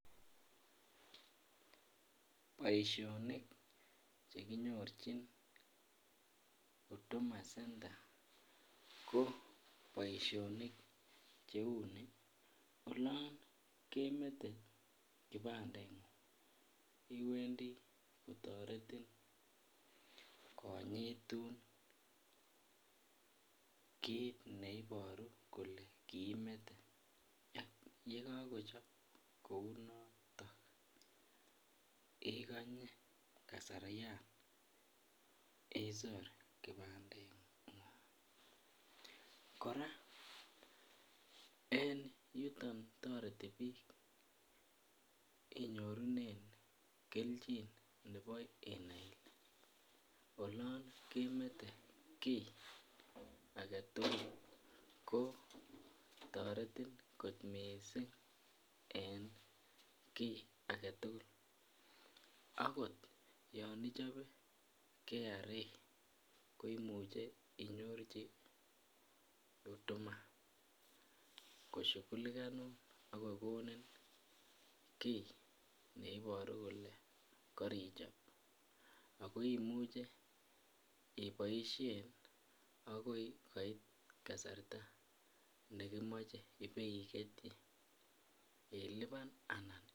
Boisinik Che kinyorchin huduma center ko boisionik Cheu ni olon kemete kibadengung kotoretin konyitun kit neiboru kole kiimete ye kakochob kou noto igonye kasaryan isor kibadengung kora en yuton toreti bik inyorunen kelchin nebo inai ile olon kemete kii age tugul kotoreti kot mising en ki age tugul okot yon ichobe KRA ko imuche inyorchi huduma koshughulikonun ak kokonin ki ne Iboru kole karichob ago imuche iboisien agoi koit kasarta nekimoche iboi ketyi ilipan anan